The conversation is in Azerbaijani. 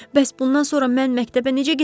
Bəs bundan sonra mən məktəbə necə gedəcəm?